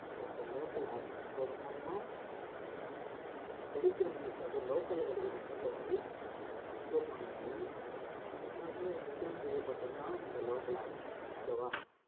நம்மளால இந்த local app அதோட மூலமா நமக்கு கிடைக்கற news அதுவும் local ல கிடைக்கற news அ வந்து நம்மளால upload பண்ண முடியும் ஆஹ் அதுக்காக design செய்யப்பட்டதுதான் இந்த local app okay வா